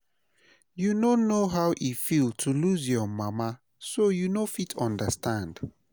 You no know how e feel to lose your mama so you no fit understand